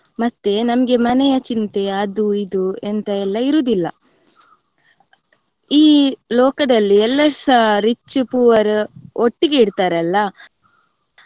ಮತ್ತೆ ನಮ್ಗೆ ಮನೆಯ ಚಿಂತೆ ಅದು ಇದು ಎಂತ ಎಲ್ಲಾ ಇರುದಿಲ್ಲ. ಈ ಲೋಕದಲ್ಲಿ ಎಲ್ಲರ್ಸ rich, poor ಒಟ್ಟಿಗೆ ಇರ್ತಾರಲ್ಲ.